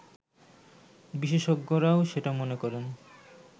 বিশেষজ্ঞরাও সেটা মনে করেন